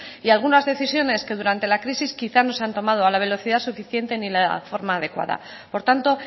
y algunas decisiones que durante la crisis quizás no se han tomado a la velocidad suficiente ni la forma adecuada por tanto